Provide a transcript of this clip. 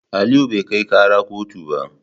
Aliyu bai kai kara kotu ba.